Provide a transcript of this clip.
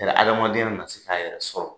Yala adamadenya na se k'a yɛrɛ sɔrɔ.